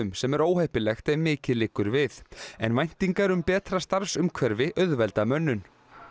sem er óheppilegt ef mikið liggur við en væntingar um betra starfsumhverfi auðvelda mönnun